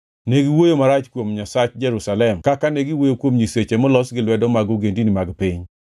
Ne giwuoyo marach kuom Nyasach Jerusalem kaka ne giwuoyo kuom nyiseche molos gi lwedo mag ogendini mag piny.